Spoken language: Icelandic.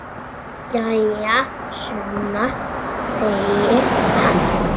Jæja, Sunna, segir hann.